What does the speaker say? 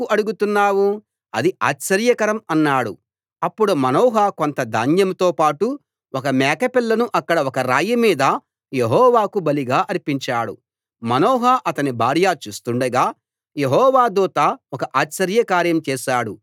అప్పుడు మనోహ కొంత ధాన్యం తో పాటు ఒక మేకపిల్లను అక్కడ ఒక రాయి మీద యెహోవాకు బలిగా అర్పించాడు మనోహా అతని భార్యా చూస్తుండగా యెహోవా దూత ఒక ఆశ్చర్యకార్యం చేశాడు